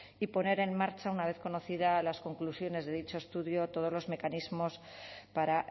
y poner en marcha una vez conocidas las conclusiones de dicho estudio todos los mecanismos para